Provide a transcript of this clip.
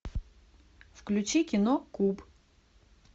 включи кино куб